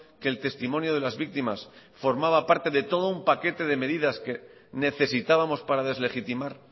que el testimonio de las víctimas formaba parte de todo un paquete de medidas que necesitábamos para deslegitimar